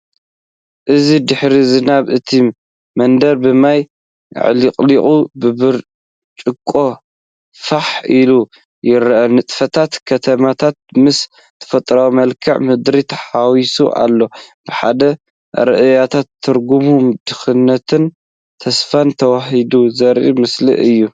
እዚ ድሕሪ ዝናብ እቲ መንገዲ ብማይ ኣዕለቕሊቑ ብብርጭቆ ፋሕ ኢሉ ይረአ፤ ንጥፈታት ከተማታት ምስ ተፈጥሮኣዊ መልክዓ ምድሪ ተሓዋዊሱ ኣሎ። ብሓደ ኣረኣእያ ትርጕም ድኽነትን ተስፋን ተዋሃሂዱ ዘርኢ ምስሊ እዩ።